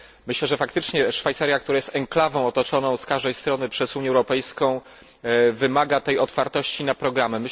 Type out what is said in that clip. Myślę, że faktycznie Szwajcaria, która jest enklawą otoczoną z każdej strony przez Unię Europejską, wymaga tej otwartości na programy.